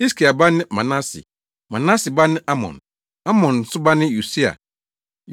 Hiskia ba ne Manase, Manase ba ne Amon, Amon nso ba ne Yosia.